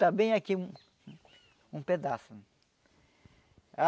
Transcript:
Está bem aqui, um pedaço.